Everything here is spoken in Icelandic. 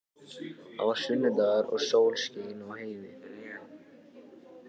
Það var sunnudagur og sól skein í heiði.